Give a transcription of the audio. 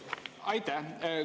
Aitäh!